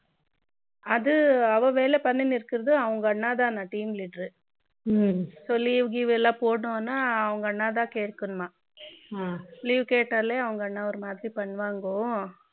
அது அவ வேலை பண்ணினு இருக்கிறது அவள் அண்ணா தானே டீம் leader ரு so leave எதுவும் போடணும்னா அவங்க அவங்க அண்ணாவைத்தான் கேட்கணும் மா leave கேட்டாலே அவங்க அண்ணா ஒரு மாதிரி பண்ணுவாங்ககோ